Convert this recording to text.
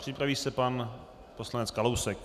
Připraví se pan poslanec Kalousek.